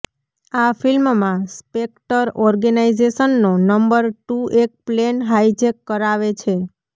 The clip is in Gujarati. આ ફિલ્મમાં સ્પેક્ટર ઓર્ગેનાઈઝેશનનો નંબર ટુ એક પ્લેન હાઈજેક કરાવે છે